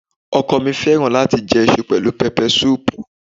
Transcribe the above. Ọkọ ọ̀ mi fẹ́ràn láti jẹ iṣu pẹ̀lú pẹpẹsúùpù.